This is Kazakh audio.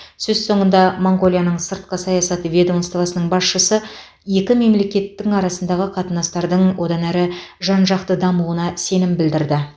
сөз соңында моңғолияның сыртқы саясат ведомствосының басшысы екі мемлекеттің арасындағы қатынастардың одан әрі жан жақты дамуына сенім білдірді